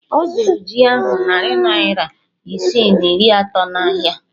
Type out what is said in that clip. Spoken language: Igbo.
Ọ zụrụ jí ahụ narị naira isii na iri atọ n'ahịa